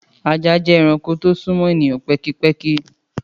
Àjá jẹ ẹrànkó to sún mọ èníyàn pẹ̀kípẹ̀kí.